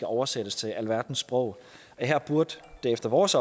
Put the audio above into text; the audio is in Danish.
oversættes til alverdens sprog her burde det efter vores